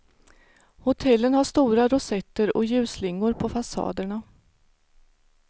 Hotellen har stora rosetter och ljusslingor på fasaderna.